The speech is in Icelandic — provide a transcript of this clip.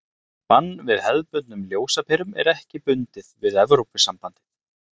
bann við hefðbundnum ljósaperum er ekki bundið við evrópusambandið